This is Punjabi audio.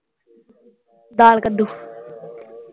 ਦਾਲ ਕੁੱਦੂ।